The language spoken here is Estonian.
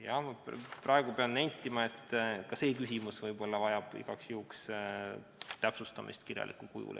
Jah, praegu pean nentima, et ka see küsimus vajaks igaks juhuks täpsustamist kirjalikul kujul.